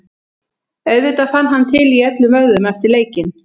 Auðvitað fann hann til í öllum vöðvum eftir leikinn.